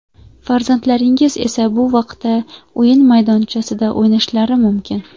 Farzandlaringiz esa bu vaqtda o‘yin maydonchasida o‘ynashlari mumkin.